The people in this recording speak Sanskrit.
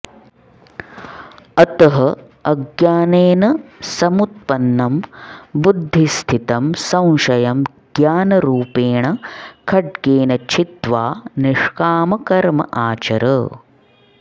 अतः अज्ञानेन समुत्पन्नं बुद्धिस्थितं संशयं ज्ञानरूपेण खड्गेन छित्त्वा निष्कामकर्म आचर